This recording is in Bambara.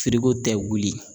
tɛ wuli.